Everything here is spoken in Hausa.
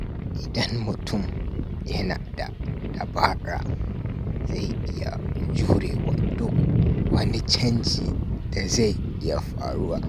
Idan mutum yana da dabara, zai iya jurewa duk wani canji da zai iya faruwa.